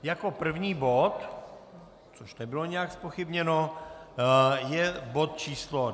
Jako první bod, což nebylo nijak zpochybněno, je bod číslo